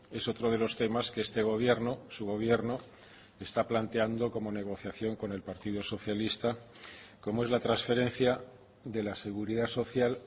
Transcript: es otro de los temas que este gobierno su gobierno está planteando como negociación con el partido socialista como es la transferencia de la seguridad social